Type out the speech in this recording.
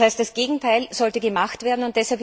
Das heißt, das Gegenteil sollte gemacht werden.